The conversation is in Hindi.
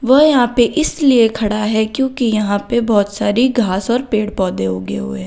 वह यहां पे इसलिए खड़ा है क्योंकि यहां पे बोहोत सारी घास और पेड़ पौधे उगे हुए हैं।